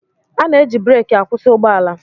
A na-eji breeki akwụsị ụgbọala.